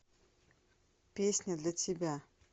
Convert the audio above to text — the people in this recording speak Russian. песня для тебя